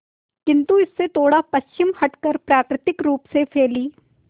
किंतु इससे थोड़ा पश्चिम हटकर प्राकृतिक रूप से फैली